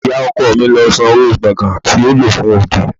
Ì̀yá ọkọ mi lo sanwó gbògán tí a lò fún òde.